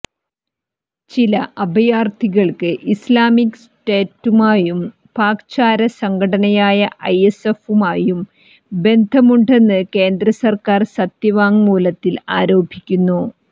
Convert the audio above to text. ചില അഭയാർഥികൾക്ക് ഇസ്ലാമിക് സ്റ്റേറ്റുമായും പാക് ചാര സംഘടനയായ ഐഎസ്ഐയുമായും ബന്ധമുണ്ടെന്ന് കേന്ദ്ര സർക്കാർ സത്യവാങ്മൂലത്തിൽ ആരോപിക്കുന്നു